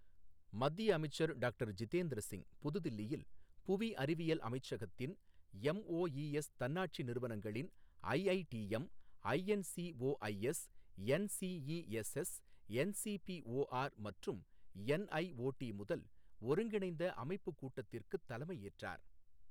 மத்திய அமைச்சர் டாக்டர் ஜிதேந்திர சிங் புது தில்லியில் புவி அறிவியல் அமைச்சகத்தின் எம்ஓஇ எஸ் தன்னாட்சி நிறுவனங்களின் ஐஐடிஎம், ஐஎன்சிஓஐஎஸ், என்சிஇஎஸ்எஸ், என்சிபிஓஆர் மற்றும் என்ஐஓடி முதல் ஒருங்கிணைந்த அமைப்பு கூட்டத்திற்குத் தலைமை ஏற்றார்